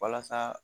Walasa